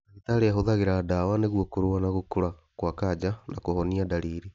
Ndagĩtarĩ ahũthĩraga dawa nĩgũo kũrũa na gũkũra gwa kanja na kũhonia ndariri